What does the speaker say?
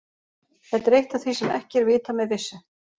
Þetta er eitt af því sem er ekki vitað með vissu.